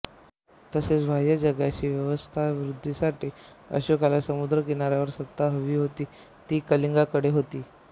तसेच बाह्य जगाशी व्यवसायवृद्धीसाठी अशोकाला समुद्र किनाऱ्यावर सत्ता हवी होती ती कलिंगाकडे होती